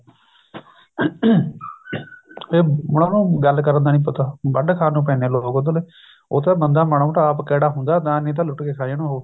ਤੇ ਉਹਨਾ ਨੂੰ ਗੱਲ ਕਰਨ ਦਾ ਨੀ ਪਤਾ ਵੱਡ ਖਾਣ ਨੂੰ ਪੈਂਦੇ ਨੇ ਲੋਕ ਉਧਰਲੇ ਉਹ ਤਾਂ ਬੰਦਾ ਮਾੜਾ ਮੋਟਾ ਆਪ ਕੈੜਾ ਹੁੰਦਾ ਨਹੀਂ ਤਾਂ ਲੁੱਟ ਕੇ ਖਾ ਜਾਣ ਉਹ